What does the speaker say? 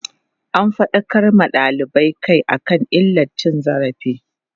an faɗakar ma dalibai Kai akan illar cin zali